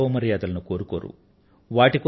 వారు గౌరవ మర్యాదలను కోరుకోరు